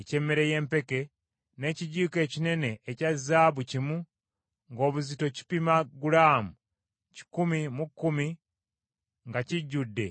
n’ekijiiko ekinene ekya zaabu kimu, ng’obuzito kipima gulaamu kikumi mu kkumi, nga kijjudde ebyakaloosa;